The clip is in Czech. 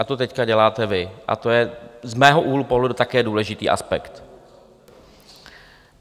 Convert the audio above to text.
A to teď děláte vy a to je z mého úhlu pohledu také důležitý aspekt.